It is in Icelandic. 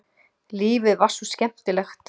Lífið var svo skemmtilegt.